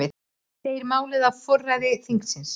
Segir málið á forræði þingsins